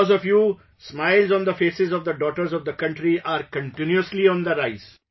Because of you, smiles on the faces of the daughters of the country are continuously on the rise